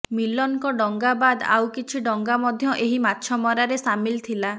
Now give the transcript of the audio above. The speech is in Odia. ମିଲନ୍ଙ୍କ ଡଙ୍ଗା ବାଦ୍ ଆଉ କିଛି ଡଙ୍ଗା ମଧ୍ୟ ଏହି ମାଛମରାରେ ସାମିଲ୍ ଥିଲା